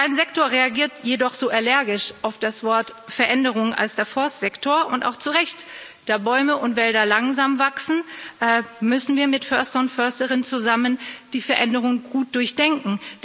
Kein Sektor reagiert jedoch so allergisch auf das Wort Veränderung wie der Forstsektor und auch zurecht Da Bäume und Wälder langsam wachsen, müssen wir mit Försterinnen und Förstern zusammen die Veränderungen gut durchdenken.